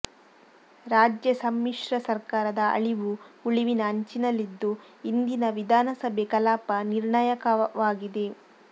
ರಾಜ್ಯ ಸಮ್ಮಿಶ್ರ ಸರ್ಕಾರದ ಅಳಿವು ಉಳಿವಿನ ಅಂಚಿನಲ್ಲಿದ್ದು ಇಂದಿನ ವಿಧಾನಸಭೆ ಕಲಾಪ ನಿರ್ಣಾಯಕವಾಗಿದೆ